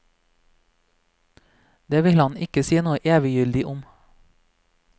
Det vil han ikke si noe eviggyldig om.